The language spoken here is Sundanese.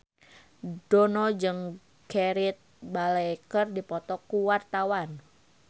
Dono jeung Gareth Bale keur dipoto ku wartawan